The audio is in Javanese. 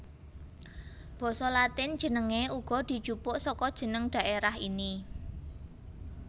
Basa Latin jenengé uga dijupuk saka jeneng dhaerah ini